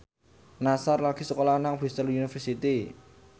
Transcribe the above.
Nassar lagi sekolah nang Bristol university